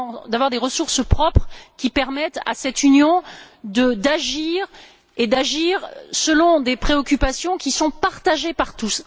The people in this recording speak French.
d'avoir des ressources propres qui permettent à cette Union d'agir, et ce selon des préoccupations qui sont partagées par tous.